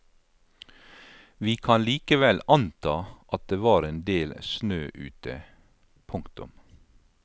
Vi kan likevel anta at det var en del snø ute. punktum